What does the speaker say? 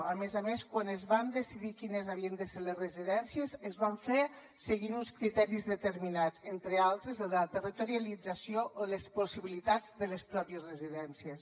a més a més quan es van decidir quines havien de ser les residències es va fer seguint uns criteris determinats entre altres el de territorialització o les possibilitats de les pròpies residències